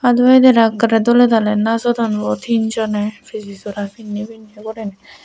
aado edera ekkorey doley daaley najodon bo tin joney piji sora pinney pinney guriney.